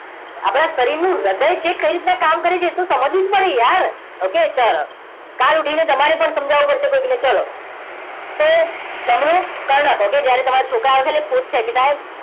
આપણા શરીરનું હૃદય છે કઈ રીતના કામ કરે છે એ તો સમજવું જ પડશે યાર okay ચલો કાલ ઉઠીને તમારે પણ સમજાવવું પડશે કોઈકને ચલો તો જમણું કર્ણક okay જ્યારે તમારા છોકરા આવશે એટલે પૂછશે કે સાહેબ